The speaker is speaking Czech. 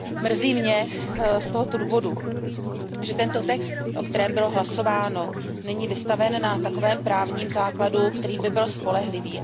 Z tohoto důvodu mě mrzí, že tento text, o kterém bylo hlasováno, není vystaven na takovém právním základu, který by byl spolehlivý.